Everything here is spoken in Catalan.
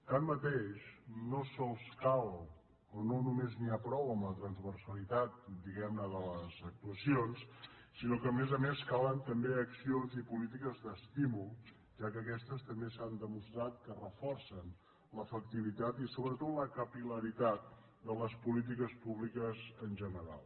tanmateix no sols cal o no només n’hi ha prou amb la transversalitat diguem·ne de les actuaci·ons sinó que a més a més calen també accions i polí·tiques d’estímul ja que aquestes també s’han demostrat que reforcen l’efectivitat i sobretot la capil·laritat de les polítiques públiques en general